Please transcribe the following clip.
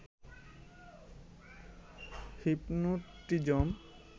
hypnotism